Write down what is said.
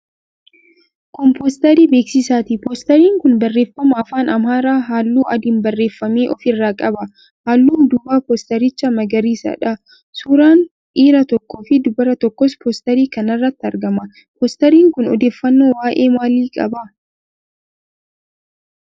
Kun poosterii beeksisaati. Poosteriin kun barreeffama afaan Amaaraan, halluu adiin barreeffame ofirraa qaba. Halluun duubaa poosterichaa magariisadha. Suuraan dhiira tokkoofi dubara tokkoos poosterii kana irratti argama. Poosteriin kun odeeffannoo waa'ee maalii qaba?